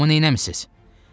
Uşağımı nəmisiz?